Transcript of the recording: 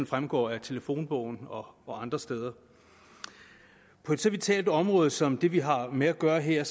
fremgår af telefonbogen og og andre steder på så vitalt et område som det vi har med at gøre her